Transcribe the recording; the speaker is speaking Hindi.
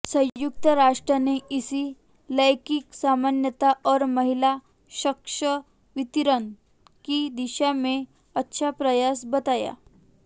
संयुक्त राष्ट्र ने इसे लैंगिक समानता और महिला सशक्तिकरण की दिशा में अच्छा प्रयास बताया